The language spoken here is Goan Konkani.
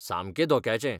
सामकें धोक्याचें.